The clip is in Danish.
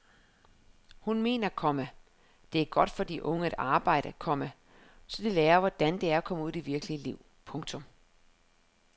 Hun mener, komma det er godt for de unge at arbejde, komma så de lærer hvordan det er at komme ud i det virkelige liv. punktum